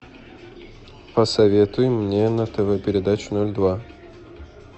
посоветуй мне на тв передачу ноль два